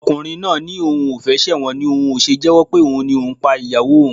Ọkùnrin náà ni òun ò fẹ́ ṣẹ̀wọ̀n ni òun ò ṣe jẹ́wọ́ pé òun ni òun pa ìyàwó òun